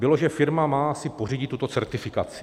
Bylo, že firma má si pořídit tuto certifikaci.